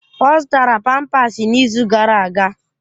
Ọ zụtara pampasi n'izu gara aga.